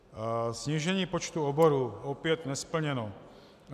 Snížení počtu oborů - opět nesplněno.